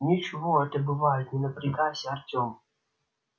ничего это бывает не напрягайся артем